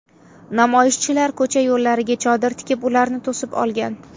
Namoyishchilar ko‘cha yo‘llariga chodir tikib ularni to‘sib olgan.